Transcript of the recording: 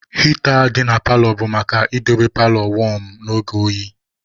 Heater dị na paalọ bụ maka idobe paalọ wọm n'oge oyi.